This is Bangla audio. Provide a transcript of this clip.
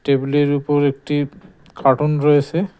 টেবিলের উপর একটি কার্টুন রয়েসে।